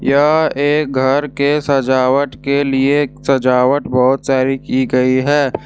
यह एक घर के सजावट के लिए सजावट बहुत सारी की गई है।